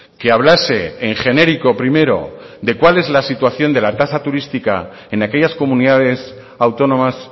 que hablase en genérico primero de cuál es la situación de la tasa turística en aquellas comunidades autónomas